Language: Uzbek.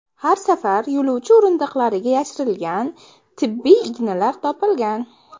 Har safar yo‘lovchi o‘rindiqlariga yashirilgan tibbiy ignalar topilgan.